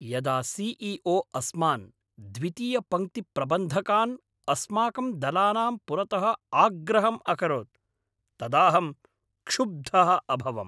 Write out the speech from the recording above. यदा C E O अस्मान्, द्वितीयपङ्क्तिप्रबन्धकान्, अस्माकं दलानां पुरतः आग्रहम् अकरोत् तदाहं क्षुब्धः अभवम्।